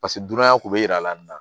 Paseke dunanya kun be yira la nin na